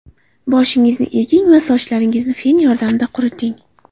Boshingizni eging va sochlaringizni fen yordamida quriting.